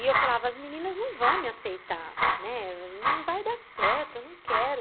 E eu falava, as meninas não vão me aceitar, né, não vai dar certo, eu não quero.